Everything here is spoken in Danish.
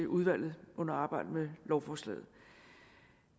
udvalget under arbejdet med lovforslaget